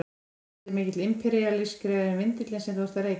Ætli hann sé mikið imperíalískari en vindillinn sem þú ert að reykja?